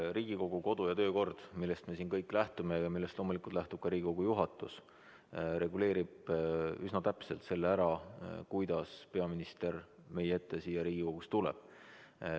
Riigikogu kodu- ja töökord, millest me siin kõik lähtume ja millest loomulikult lähtub ka Riigikogu juhatus, reguleerib üsna täpselt selle ära, kuidas peaminister meie ette siia Riigikogusse tuleb.